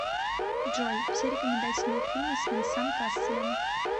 джой все рекомендательные фильмы с венсан касселем